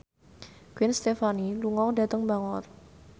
Gwen Stefani lunga dhateng Bangor